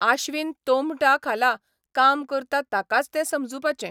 आश्वीन तोंबटा खाला काम करता ताकाच ते समजुपाचे.